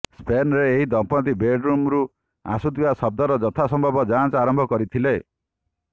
ସ୍ପେନ୍ର ଏହି ଦମ୍ପତ୍ତି ବେଡରୁମ୍ରୁ ଆସୁଥିବା ଶବ୍ଦର ଯଥାସମ୍ଭବ ଯାଞ୍ଚ ଆରମ୍ଭ କରିଥିଲେ